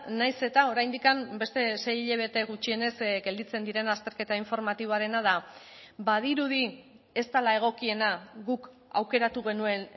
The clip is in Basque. nahiz eta oraindik beste sei hilabete gutxienez gelditzen diren azterketa informatiboarena da badirudi ez dela egokiena guk aukeratu genuen